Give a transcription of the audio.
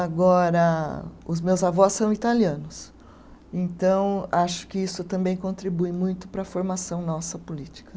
Agora, os meus avós são italianos, então acho que isso também contribui muito para a formação nossa política.